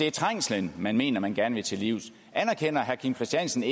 er trængslen men mener man gerne vil til livs anerkender herre kim christiansens